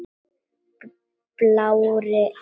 Blárri en blá.